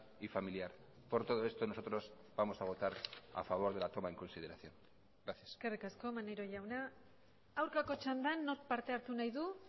y familiar por todo esto nosotros vamos a votar a favor de la toma en consideración gracias eskerrik asko maneiro jauna aurkako txandan nork parte hartu nahi du